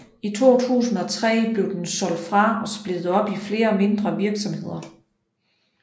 I 2003 blev den solgt fra og splittet op i flere mindre virksomheder